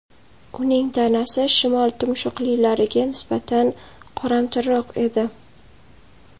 Uning tanasi shimol tumshuqlilariga nisbatan qoramtirroq edi.